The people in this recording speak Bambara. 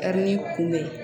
kunbɛn